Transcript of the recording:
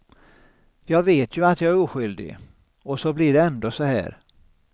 Jag vet ju att jag är oskyldig och så blir det ändå så här.